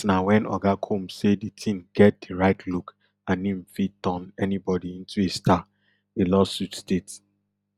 dat na wen oga combs say di teen get di right look and im fit turn anybody into a star di lawsuit state